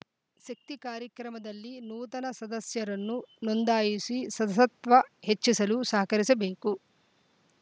ಶೆಕ್ತಿ ಕಾರ್ಯಕ್ರಮದಲ್ಲಿ ನೂತನ ಸದಸ್ಯರನ್ನು ನೋಂದಾಯಿಸಿ ಶಸ್ವ ತ್ವ ಹೆಚ್ಚಿಸಲು ಸಹಕರಿಸಬೇಕು